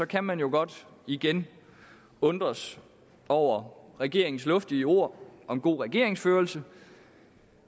kan man jo godt igen undres over regeringens luftige ord om god regeringsførelse